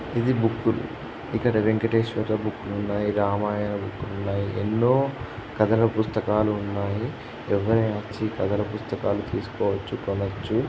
ఇది బుక్ ఇక్కడ వెంకటేశ్వర బుక్ రాముడు బుక్ ఉన్నాయి రామాయణ బుక్ ఉన్నాయి ఎన్నో కథల పుస్తకాలు ఉన్నాయి ప్రజలు వచ్చి కథల పుస్తకాలూ తీసుకోవచ్చు కొనచ్చు.